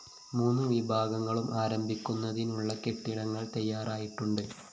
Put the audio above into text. മൂന്ന് വിഭാഗങ്ങളും ആരംഭിക്കുന്നതിനുള്ള കെട്ടിടങ്ങള്‍ തയ്യാറായിട്ടുണ്ട്